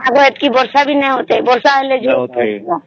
ଏବେ ତା ଏତିକି ବର୍ଷା ବି ନାଇଁ ହଉଛେ ବର୍ଷା ହେଲେ ତ